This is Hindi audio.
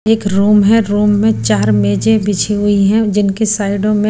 एक रुम है रुम में चार मेजे बिछी हुई हैं जिनकी साइडों में--